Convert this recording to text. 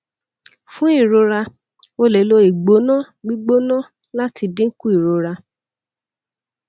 fun irora o le lo igbona gbigbona lati dinku irora